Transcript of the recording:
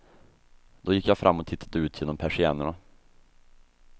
Då gick jag fram och tittade ut genom persiennerna.